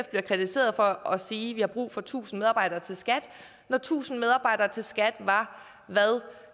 bliver kritiseret for at sige at vi har brug for tusind medarbejdere til skat når tusind medarbejdere til skat var hvad